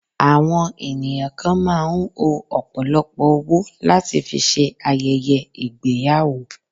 Àwọn ènìyàn kan máà ń o ọ̀pọ̀lọpọ̀ owó láti fi ṣe ayẹyẹ ìgbéyàwó.